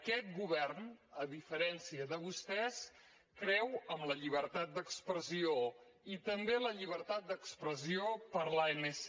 aquest govern a diferència de vostès creu en la llibertat d’expressió i també en la llibertat d’expressió per a l’anc